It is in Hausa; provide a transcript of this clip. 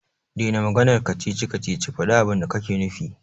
Dena maganar kacici-kacici, faɗi abinda kake nufi.